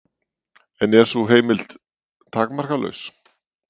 En er sú heimild takmarkalaus?